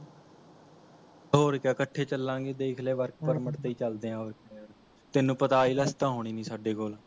ਹੋਰ ਕਿਆ ਇਕੱਠੇ ਚਲਾਂਗੇ ਦੇਖ ਲੈ Work permit ਤੇ ਚੱਲਦੇ ਆ ਹੋਰ ਤੈੰਨੂ ਪਤਾ IELTS ਤਾਂ ਹੋਣੀ ਨਹੀ ਸਾਡੇ ਕੋਲ